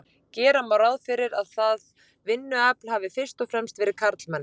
gera má ráð fyrir að það vinnuafl hafi fyrst og fremst verið karlmenn